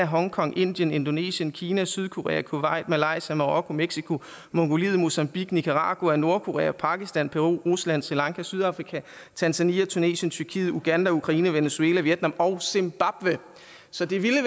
hongkong indien indonesien kina sydkorea kuwait malaysia marokko mexico mongoliet mozambique nicaragua nordkorea pakistan peru rusland sri lanka sydafrika tanzania tunesien tyrkiet uganda ukraine venezuela vietnam og zimbabwe så det ville